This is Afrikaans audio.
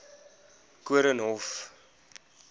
koornhof